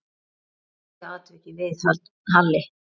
Hvernig horfði atvikið við Halli?